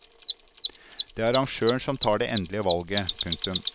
Det er arrangøren som tar det endelige valget. punktum